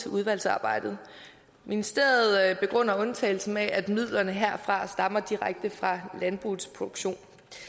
udvalgsarbejdet ministeriet begrunder undtagelsen med at midlerne herfra stammer direkte fra landbrugets produktion